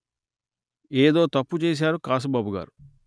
ఏదో తప్పు చేసారు కాసుబాబు గారు